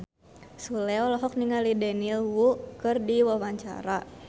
Sule olohok ningali Daniel Wu keur diwawancara